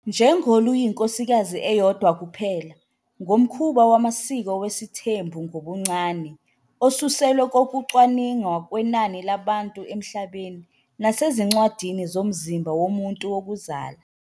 Njengoluyinkosikazi eyodwa kuphela, ngomkhuba wamasiko wesithembu ngobuncane, osuselwe kokucwaninga kwenani labantu emhlabeni, nasezincwadini zomzimba womuntu wokuzala.